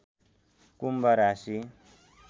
कुम्भ राशि